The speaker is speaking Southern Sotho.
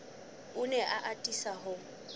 o ne a atisa ho